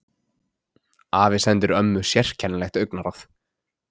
Afi sendir ömmu sérkennilegt augnaráð.